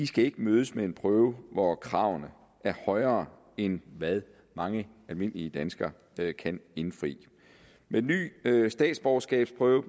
skal mødes med en prøve hvor kravene er højere end hvad mange almindelige danskere kan indfri med den nye statsborgerskabsprøve